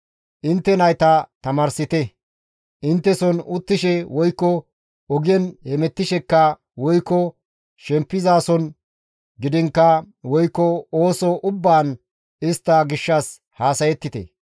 Intte nayta tamaarsite; intteson uttishe woykko ogen hemettishekka woykko shempizason gidiinkka woykko ooso ubbaan istta gishshas haasayettite.